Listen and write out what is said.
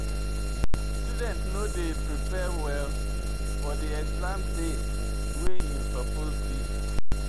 Student no dey prepare well for exam de way im suppose be.